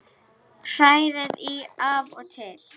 Hrærið í af og til.